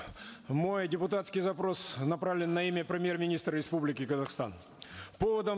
мой депутатский запрос направлен на имя премьер министра республики казахстан поводом